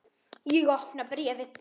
Ég opna bréfið.